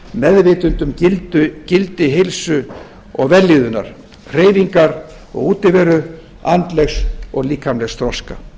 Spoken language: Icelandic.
meðvitund um gildi heilsu og vellíðurnar hreyfingar og útiveru andlegs og líkamlegs þroska